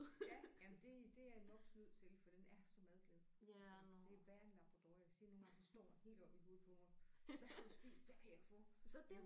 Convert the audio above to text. Ja jamen det det er en mops nødt til for den er så madglad så det er værre end en labrador jeg siger nogle gange så står han helt oppe i hovedet på mig hvad har du spist hvad kan jeg få